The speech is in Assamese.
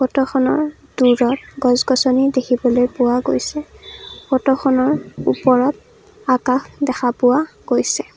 ফটোখনৰ দূৰত গছ গছনি দেখিবলৈ পোৱা গৈছে ফটোখনৰ ওপৰত আকাশ দেখা পোৱা গৈছে।